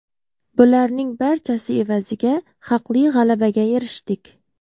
Bularning barchasi evaziga haqli g‘alabaga erishdik.